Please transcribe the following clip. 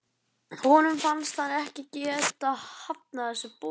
Honum finnst hann ekki geta hafnað þessu boði.